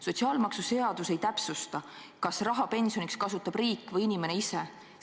Sotsiaalmaksuseadus ei täpsusta, kas raha pensioniks kasutab riik või inimene ise.